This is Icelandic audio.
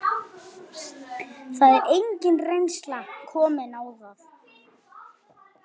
Það er engin reynsla komin á það.